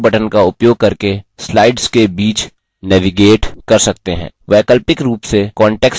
आप अपने keyboard पर arrow buttons का उपयोग करके slides के बीच navigate कर सकते हैं